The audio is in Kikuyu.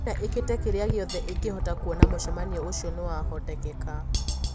China iikite kiria giothe ingihota kuona mushemanio ucio niwahotekeka